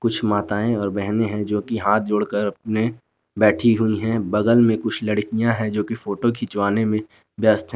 कुछ माताएं और बहने हैं जो कि हाथ जोड़कर अपने बैठी हुई है बगल में कुछ लड़कियां है जो कि फोटो खिंचवाने में व्यस्त हैं।